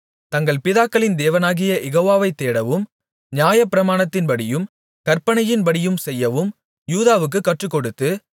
தங்கள் பிதாக்களின் தேவனாகிய யெகோவாவை தேடவும் நியாயப்பிரமாணத்தின்படியும் கற்பனையின்படியும் செய்யவும் யூதாவுக்குக் கற்றுக்கொடுத்து